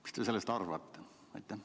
Mis te sellest arvate?